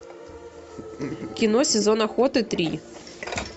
кино сезон охоты три